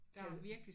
Kan du